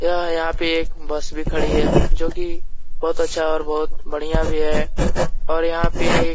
यह यहाँ पे एक बस भी खड़ी है जो कि बहुत अच्छा और बहुत बढ़ियाँ भी है और यहाँ पर एक --